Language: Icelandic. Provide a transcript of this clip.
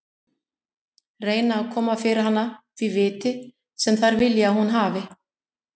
Reyna að koma fyrir hana því viti sem þær vilja að hún hafi.